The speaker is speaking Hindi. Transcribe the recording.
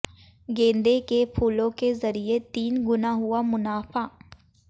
गेंदे के फूलों के जरिए तीन गुना हुआ मुनाफा